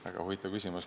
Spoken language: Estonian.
Väga huvitav küsimus.